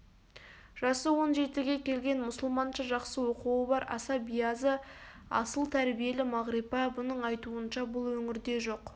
жасы он жетіге келген мұсылманша жақсы оқуы бар аса биязы асыл тәрбиелі мағрипа бұның айтуынша бұл өңірде жоқ